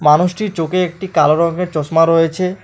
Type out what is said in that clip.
মানুষটির চোখে একটি কালো রংয়ের চশমা রয়েছে।